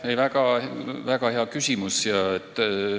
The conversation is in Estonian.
Aitäh, väga hea küsimus!